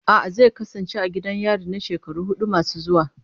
A'a, zai kasance a gidan yari na shekaru hudu masu zuwa.